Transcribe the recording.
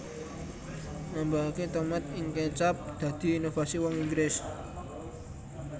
Nambahaké tomat ing kecap dadi inovasi wong Inggris